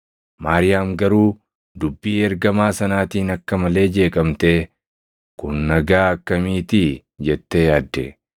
Maariyaam garuu dubbii ergamaa sanaatiin akka malee jeeqamtee, “Kun nagaa akkamiitii?” jettee yaadde.